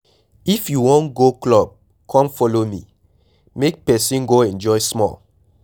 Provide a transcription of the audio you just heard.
If you wan go club come follow me, make person go enjoy small.